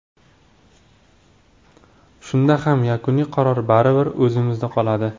Shunda ham yakuniy qaror baribir o‘zimda qoladi.